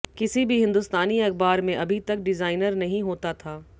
किसी भी हिंदुस्तानी अखबार में अभी तक डिज़ाइनर नहीं होता था